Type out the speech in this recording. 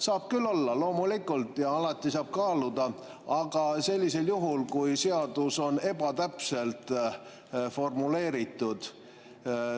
Saab küll olla, loomulikult, ja alati saab kaaluda, aga sellisel juhul, kui seadus on ebatäpselt formuleeritud.